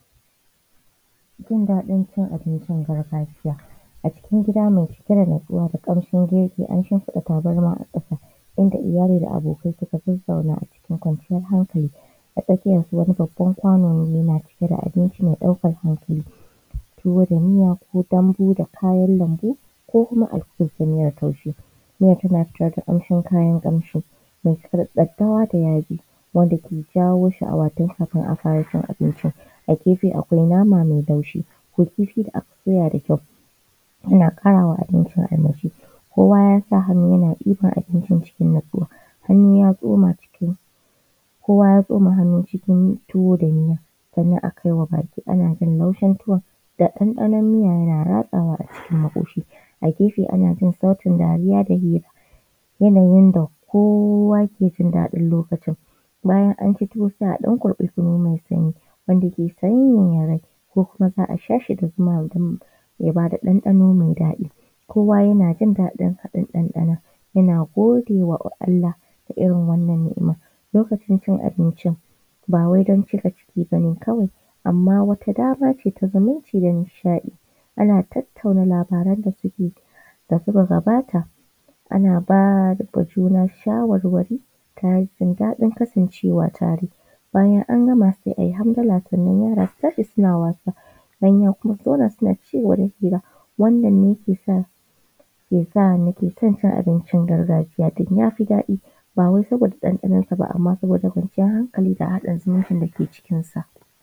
Jin daɗin cin abincin gargajiya, a cikin gida mai cike da natsuwa da ƙarfin zumunci an shimfiɗa tabarma a ƙasa inda iyali da abokai suka zazzauna a cikin kwanciyar hankali. A tsakiyar su wani babban kwano ne yana cike da abinci mai ɗaukar hankali, tuwo da miya su dambu da kayan lambu, ko kuma a cikin samira ta biyu miya tana fitowa da ƙamshin kayan ƙamshi mai cike da daddawa da yaji wanda ke jawo ke jawo sh’awa tun kafin a fara cin abincin. A gefe akwai nama mai laushi da kifi da aka soya da kyau yana ƙara ma abincin armashi. Kowa ya sa hannu yana ɗiban abincin cikin natsuwa hannu ya tsoma ciki, hannu ya tsoma cikin kowa ya tsoma hannu cikin tuwo da miya sannan a kai wa baki ana jin laushin tuwon da ɗanɗanon miya yana ratsawa a cikin maƙoshi a gefe ana jin sautin dariya da hira, yanayin da kowa ke jin daɗin lokacin. Bayan an ci tuwo sai a ɗan kurɓi kunu mai sanyi wanda ke sanyaya rai ko kuma za aa sha shi da zuma idan ya bada ɗanɗano mai daɗi kowa yana jin daɗin haɗin ɗanɗanon yana godewa Allah da irin wannan ni’ima lokacin cin abincin ba wai don cika ciki bane kawai amma wata dama ce ta zumunci da nishaɗi ana tattauna labaran da suke da suka gabata ana ba ma juna shawarwari tare da jin daɗin kasancwa tare, bayan an gama sai a yi hamdala sannan yara su tashi suna wasa manya kuma su zauna suna cigaba da hira. Wannan ne ke sa ke san na ke son cin abincin gargajiya din ya fi daɗi, ba wai saboda ɗanɗanon sa ba amma saboda kwanciyar hankali da haɗa zumuncin da ke cikin sa.